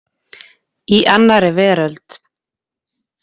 Í annarri veröld.